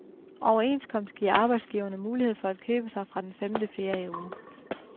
Overenskomst giver arbejdsgiverne mulighed for at købe sig fra den femte ferieuge.